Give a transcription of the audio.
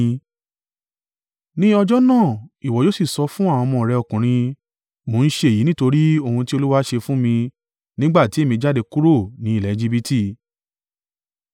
Ní ọjọ́ náà, ìwọ yóò sì sọ fún àwọn ọmọ rẹ ọkùnrin, ‘Mo ń ṣe èyí nítorí ohun tí Olúwa ṣe fún mi nígbà tí èmi jáde kúrò ni ilẹ̀ Ejibiti.’